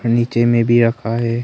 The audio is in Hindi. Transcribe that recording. नीचे में भी रखा है।